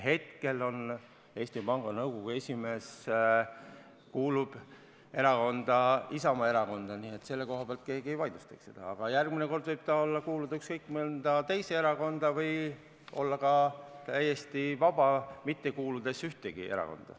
Hetkel Eesti Panga Nõukogu esimees kuulub Isamaa Erakonda, keegi ei vaidlusta seda, aga järgmine kord võib ta kuuluda ükskõik millisesse teise erakonda või olla ka täiesti vaba, mitte kuuluda ühtegi erakonda.